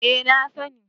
Eh na sani